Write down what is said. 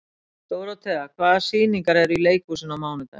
Dórótea, hvaða sýningar eru í leikhúsinu á mánudaginn?